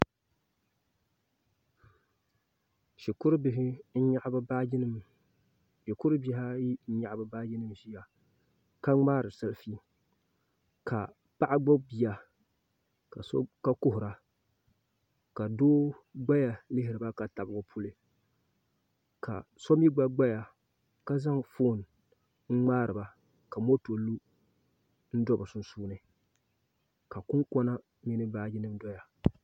Shikuru bihi ayi n nyaɣa bi baaji nik ʒiya ka ŋmaari sɛlfi ka paɣa gbubi bia ka kuhura ka doo gbaya lihiriba ka tabi o puli ka so mii gba gbaya ka zaŋ foon n ŋmaariba ka moto lu n do bi sunsuuni ka kunkona mini baaji nim doya